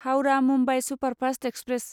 Howrah Mumbai superfast express